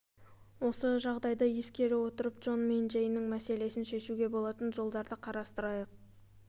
осы жағдайды ескере отырып джон мен джейннің мәселесін шешуге болатын жолдарды қарастырайық